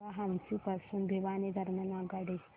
सांगा हान्सी पासून भिवानी दरम्यान आगगाडी